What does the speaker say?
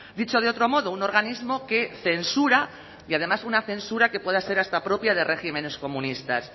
dicho de otro modo un organismo que censura y además una censura que pueda ser hasta propia de regímenes comunistas